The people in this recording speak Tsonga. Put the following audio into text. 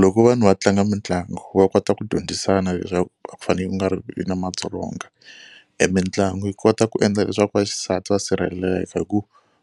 Loko vanhu va tlanga mitlangu va kota ku dyondzisana leswaku a ku fanele ku nga ri vi na madzolonga. E mitlangu yi kota ku endla leswaku vaxisati va sirheleka hi ku